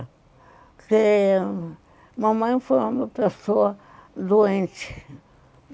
Porque mamãe foi uma pessoa doente